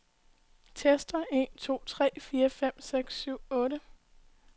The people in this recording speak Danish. Tester en to tre fire fem seks syv otte.